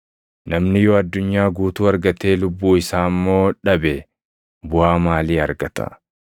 Namni yoo addunyaa guutuu argatee lubbuu isaa immoo dhabe buʼaa maalii argata?